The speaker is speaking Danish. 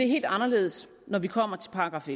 helt anderledes når vi kommer til §